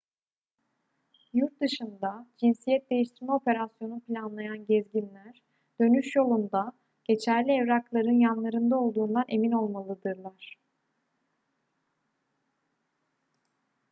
yurtdışında cinsiyet değiştirme operasyonu planlayan gezginler dönüş yolunda geçerli evrakların yanlarında olduğundan emin olmalıdırlar